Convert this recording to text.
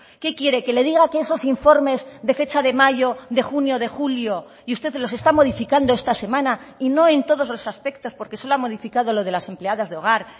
qué quiere que le diga que esos informes de fecha de mayo de junio de julio y usted los está modificando esta semana y no en todos los aspectos porque solo ha modificado lo de las empleadas de hogar